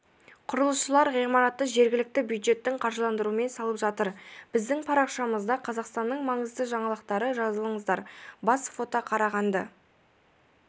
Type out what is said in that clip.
құрылысшылар ғимаратты жергілікті бюджеттің қаржыландыруымен салып жатыр біздің парақшамызда қазақстанның маңызды жаңалықтары жазылыңыздар бас фото қарағанды